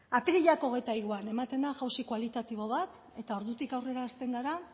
apirilak hogeita hiruan ematen da jauzi kualitatibo bat eta ordutik aurrera hasten gara